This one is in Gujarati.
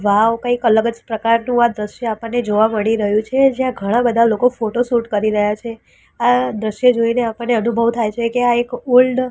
વાવ કઈક અલગજ પ્રકારનું આ દ્રશ્ય આપણને જોવા મળી રહ્યુ છે જ્યાં ઘણા બધા લોકો ફોટોશૂટ કરી રહ્યા છે આ દ્રશ્ય જોઈને આપણને અનુભવ થાય છે કે આ એક ઓલ્ડ --